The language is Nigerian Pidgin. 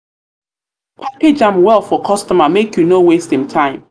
package am well for customer make you no waste im no waste im time.